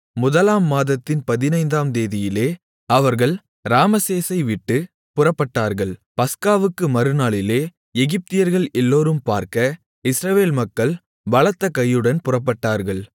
முதலாம் மாதத்தின் பதினைந்தாம் தேதியிலே அவர்கள் ராமசேசை விட்டுப் புறப்பட்டார்கள் பஸ்காவுக்கு மறுநாளிலே எகிப்தியர்கள் எல்லோரும் பார்க்க இஸ்ரவேல் மக்கள் பலத்தகையுடன் புறப்பட்டார்கள்